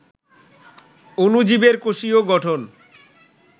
অণুজীবের কোষীয় গঠন